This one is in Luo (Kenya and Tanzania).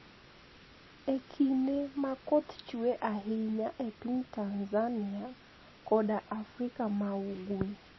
E kinide ma koth chue ahiniya e piniy Tanizaniia koda e Afrika ma Ugwe.